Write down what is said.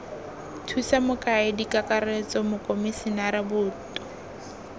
thusa mokaedi kakaretso mokomisinara boto